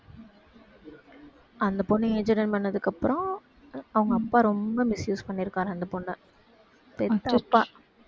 அந்த பொண்ணு age attend பண்ணதுக்கு அப்பறம் அவுங்க அப்பா ரொம்ப misuse பண்ணிருக்காராம் அந்த பொண்ணை பெத்த அப்பா